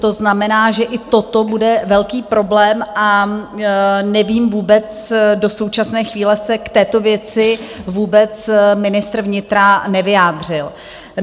To znamená, že i toto bude velký problém, a nevím vůbec, do současné chvíle se k této věci vůbec ministr vnitra nevyjádřil.